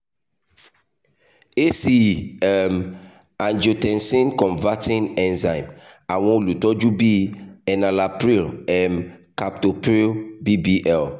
ace um (angiotensin converting enzyme) awọn olutọju bi enalapril um captopril bbl